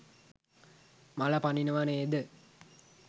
මල පනිනව නේද?